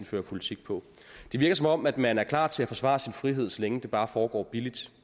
fører politik på det virker som om man er klar til at forsvare sin frihed så længe det bare foregår billigt